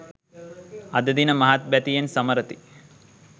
අද දින මහත් බැතියෙන් සමරති